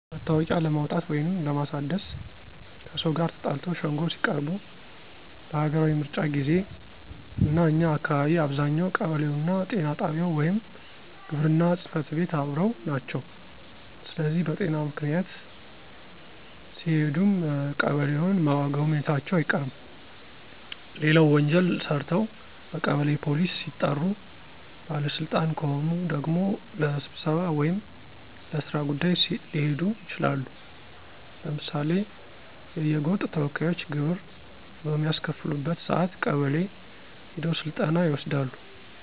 መታወቂያ ለማውጣት ወይንም ለማሳደስ፣ ከሰው ጋር ተጣልተው ሸንጎ ሲቀርቡ፣ ለሀገራዊ ምርጫ ጊዜ፣ እና እኛ አካባቢ አብዛኛው ቀበሌውና ጤና ጣቢያው ወይም ግብርና ጽፈት ቤት አብረው ናቸው ስለዚህ በጤና ምክንያት ሲሄዱም ቀበሌውን መጎብኘታቸው አይቀርም። ሌላው ወንጀል ሰርተው በቀበሌ ፖሊስ ሲጠሩ፣ ባለ ስልጣን ከሆኑ ደግሞ ለስብሰባ ወይም ለስራ ጉዳይ ሊሄዱ ይችላሉ። ለምሳሌ የየጎጥ ተወካዮች ግብር በሚያስከፍሉበት ሰአት ቀበሌ ሄደው ስልጠና ይወስዳሉ።